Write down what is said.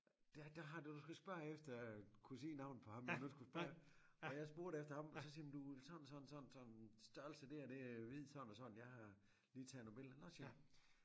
Det det har du skal spørge efter kunne sige navnet på ham man nu skulle spørge og jeg spurgte efter ham og så siger jamen du sådan sådan sådan sådan størrelse det er det er hvid sådan og sådan jeg har lige taget nogle billeder nåh siger jeg